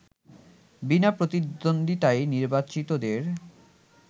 বিনা প্রতিদ্বন্দ্বিতায় নির্বাচিতদের